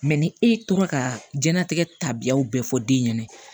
ni e tora ka diɲɛlatigɛ tabiyaw bɛɛ fɔ den ɲɛna